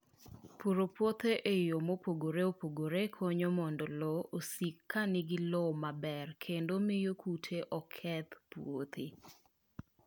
Puro puothe e yo mopogore opogore konyo mondo lowo osik ka nigi lowo maber kendo miyo kute oketh puothe.